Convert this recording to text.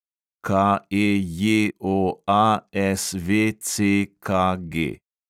KEJOASVCKG